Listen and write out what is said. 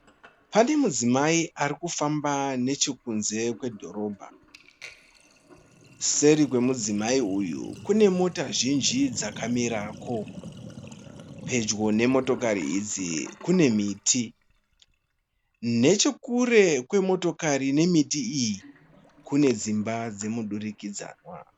Pane mudzimai ari kufamba nechekunze kwedhorobha. Seri kwemudzimai uyu kune mota zhinji dzakamirako. Pedyo nemotokari idzi kune miti. Nechekure kwemotokari nemiti iyi kune dzimba dzemudurikidzanwa.